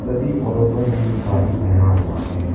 सभी औरतों ने सारी पहना हुआ है।